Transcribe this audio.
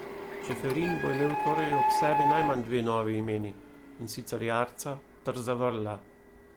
Čeferin bo imel torej ob sebi najmanj dve novi imeni, in sicer Jarca ter Zavrla.